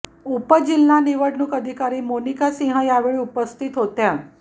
उपजिल्हा निवडणुक अधिकारी मोनिका सिंह या वेळी उपस्थित होत्या